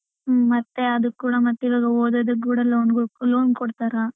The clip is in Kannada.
ಹ್ಮ್ ಮತ್ತೆ ಅದುಕ್ಕು ಕೂಡ ಮತ್ತೆ ಇವಾಗ ಓದೋದು ಕೂಡ loan loan ಕೊಡ್ತಾರ.